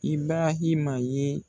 Ibrahima ye.